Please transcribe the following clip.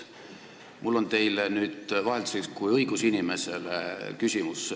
Mul on teile vahelduseks küsimus kui õigusinimesele.